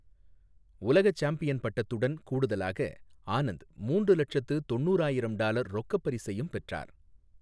உலக சாம்பியன் பட்டத்துடன் கூடுதலாக, ஆனந்த் மூன்று லட்சத்து தொண்ணுராயிரம் டாலர் ரொக்கப் பரிசையும் பெற்றார்.